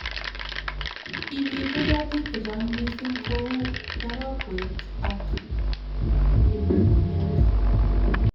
Kimitei hetik cche chang mising kou tarokwet ak kipligumiat